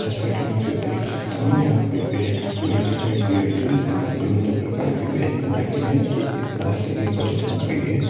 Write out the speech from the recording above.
जैसा की मुझे देख सकता हूं यहां पे एक प्लेट दिखाई दे रही है जिसमें विभिन्न प्रकार के व्यंजन रखे है एक एक नाश्ते की प्लेट लग रही है।